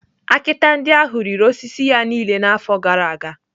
Akịta ndị ahụ riri osisi ya niile n’afọ gara aga.